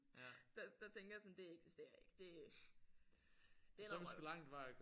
Der der tænker sådan det eksisterer ikke. Det er ikke det er noget vrøvl